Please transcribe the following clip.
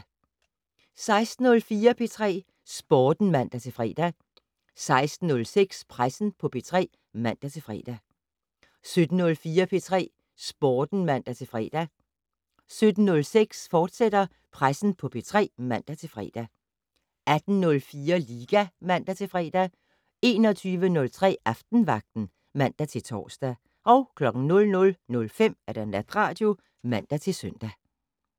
16:04: P3 Sporten (man-fre) 16:06: Pressen på P3 (man-fre) 17:04: P3 Sporten (man-fre) 17:06: Pressen på P3, fortsat (man-fre) 18:04: Liga (man-fre) 21:03: Aftenvagten (man-tor) 00:05: Natradio (man-søn)